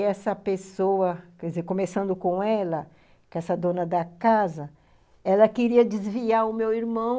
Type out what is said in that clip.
E essa pessoa, quer dizer, começando com ela, com essa dona da casa, ela queria desviar o meu irmão...